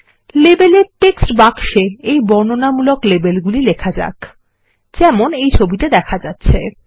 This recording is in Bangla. লেবেলের টেক্সট বাক্সে এইবর্ণনামূলক লেবেল গুলি লেখা যাক যেমন এই ছবিতে দেখা যাচ্ছে